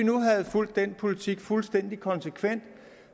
havde fulgt den politik fuldstændig konsekvent